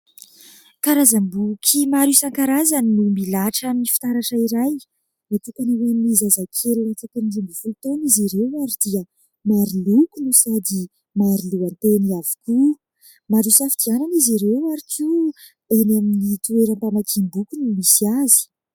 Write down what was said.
Karazam-boky maro isan-karazany no milahatra amin'ny fitaratra iray. Natokana ho an'ny zazakely latsaky ny roa ambin'ny folo taona izy ireo ary dia maro loko no sady maro lohateny avy koa, maro hisafidianana izy ireo ary eny amin'ny toeram-pamakiam-boky no misy azy.